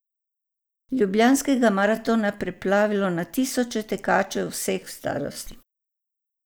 Ljubljanskega maratona preplavilo na tisoče tekačev vseh starosti.